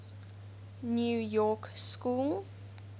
new york school